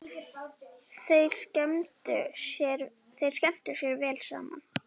Þeir skemmtu sér vel saman.